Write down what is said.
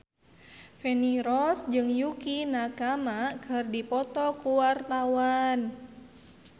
Feni Rose jeung Yukie Nakama keur dipoto ku wartawan